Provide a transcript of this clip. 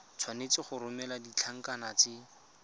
tshwanetse go romela ditlankana tse